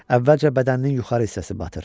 Əvvəlcə bədəninin yuxarı hissəsi batır.